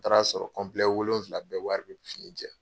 N taara a sɔrɔ wolonwula bɛɛ wari bɛ fini jɛ.